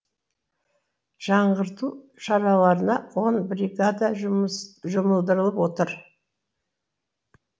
жаңғырту шараларына он бригада жұмылдырылып отыр